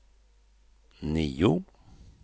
nio